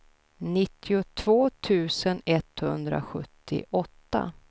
nittiotvå tusen etthundrasjuttioåtta